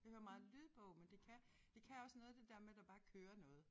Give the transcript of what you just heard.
Jeg hører meget lydbog men det kan det kan også noget det der med der bare kører noget